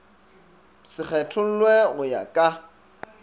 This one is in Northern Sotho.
se kgethollwe go ya ka